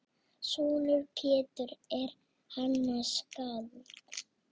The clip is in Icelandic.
Sonur Péturs er Hannes skáld.